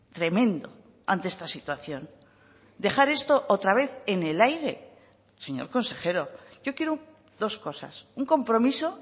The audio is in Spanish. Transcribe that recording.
tremendo ante esta situación dejar esto otra vez en el aire señor consejero yo quiero dos cosas un compromiso